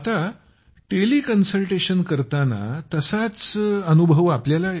जसं टेलिकन्सल्टेशन करतत तसाच आनंद मिळतो आपल्याला